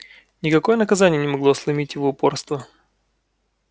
никакое наказание не могло сломить его упорство